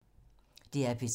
DR P3